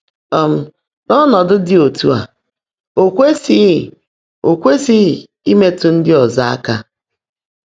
um N’ọ́nọ́dụ́ ḍị́ ọ́tú́ á, ó kwèsị́ghị́ ó kwèsị́ghị́ ímètụ́ ndị́ ọ́zọ́ áká.